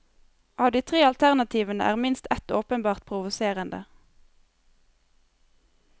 Av de tre alternativene er minst ett åpenbart provoserende.